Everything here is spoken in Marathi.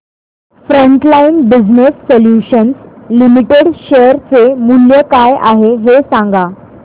frontline business solutions limited share चे मूल्य काय आहे हे सांगा